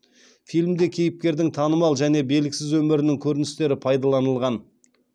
фильмде кейіпкердің танымал және белгісіз өмірінің көріністері пайдаланылған